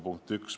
Punkt 1.